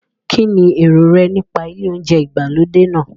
Kín ni èrò rẹ nípa ilé oúnjẹ ìgbàlódé náà?